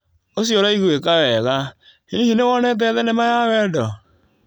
ũcio ũraiguĩka wega. Hihi nĩ wonete thenema ya wendo?